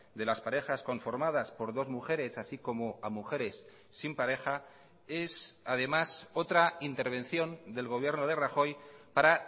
de las parejas conformadas por dos mujeres así como a mujeres sin pareja es además otra intervención del gobierno de rajoy para